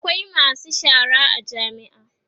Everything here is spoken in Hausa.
akwai masu shara a jami'a